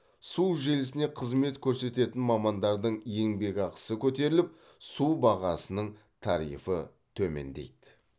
су желісіне қызмет көрсететін мамандардың еңбекақысы көтеріліп су бағасының тарифі төмендейді